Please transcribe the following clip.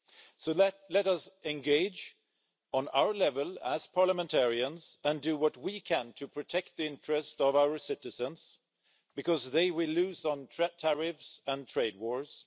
So let us engage on our level as parliamentarians and do what we can to protect the interests of our citizens, because they will lose on tariffs and trade wars.